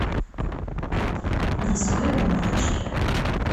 на соевом молочке